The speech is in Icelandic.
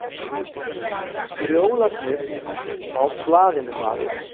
Drjólarnir á blaðinu, maður.